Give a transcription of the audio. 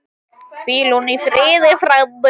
Hvíl þú í friði frændi.